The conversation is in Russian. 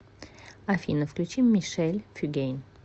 афина включи мишель фюгейн